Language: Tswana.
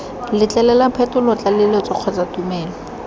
letlelela phetolo tlaleletso kgotsa tumelelo